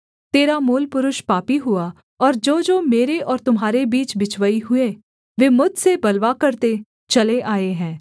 तेरा मूलपुरुष पापी हुआ और जोजो मेरे और तुम्हारे बीच बिचवई हुए वे मुझसे बलवा करते चले आए हैं